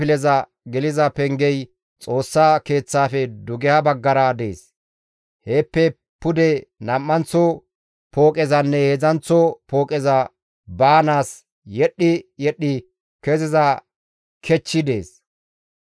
Pooqezas garsa kifileza geliza pengey Xoossa Keeththaafe dugeha baggara dees; heeppe pude nam7anththo pooqezanne heedzdzanththo pooqeza baanaas yedhdhi yedhdhi keziza kechchi dees.